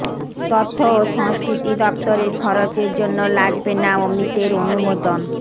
তথ্য ও সংস্কৃতি দফতরের খরচের জন্য লাগবে না অমিতের অনুমোদন